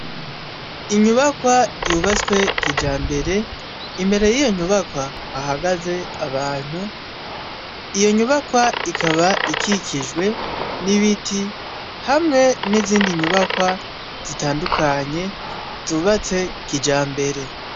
inyubakwa yubatswe kijambere imbere y'iyo nyubakwa hahagaze abantu iyo nyubakwa ikaba ikikijwe n'ibiti hamwe n'izindi nyubakwa zitandukanye zubatse kijambere